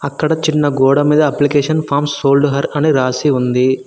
ఇక్కడ చిన్న గోడ మీద అప్లికేషన్ ఫార్మ్స్ సోల్డ్ హర్ అని రాసి ఉంది.